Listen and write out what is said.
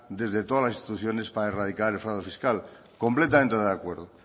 desde todas las instituciones para erradicar el fraude fiscal completamente de acuerdo